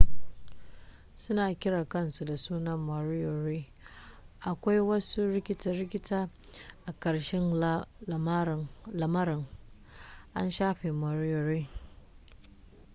suna kiran kansu da suna moriori akwai wasu rikita-rikita a karshen lamarin an shafe moriori